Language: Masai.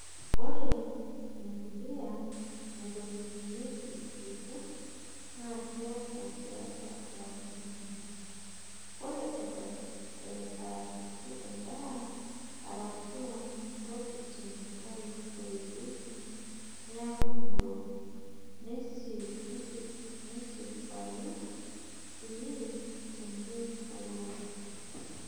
Ore mpulia naitobirunyieki irkurt naa kekuu tiatwa lapaitin ile. Ore eton aakiti endaa arashu ntokitin naitoipieki neaku ng'iro nesipayuu sii teniporoo.